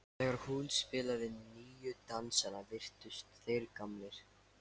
Þegar hún spilaði nýju dansana virtust þeir gamlir.